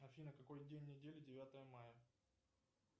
афина какой день недели девятое мая